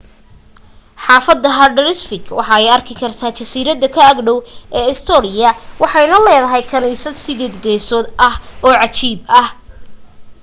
xaafada haldarsvík waxa laga arki karaa jasiirada ka ag dhow ee eysturoy waxayna leedahay kaniisad sideed geesood ah oo cajiib ah